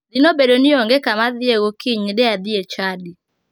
Dine obedo ni onge kama adhiye gokinyi de adhi e chadi.